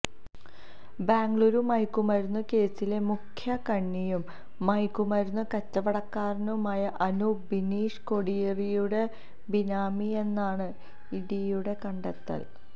ബെംഗളൂരു മയക്കുമരുന്ന് കേസിലെ മുഖ്യ കണ്ണിയും മയക്കുമരുന്ന് കച്ചവടക്കാരനുമായ അനൂപ് ബിനീഷ് കോടിയേരിയുടെ ബിനാമിയെന്നാണ് ഇഡിയുടെ കണ്ടെത്തൽ